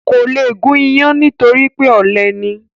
Kò le gún iyán nítorí pé ọ̀lẹ ni